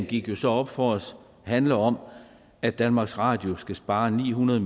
gik jo så op for os at fokuseringen handler om at danmarks radio skal spare ni hundrede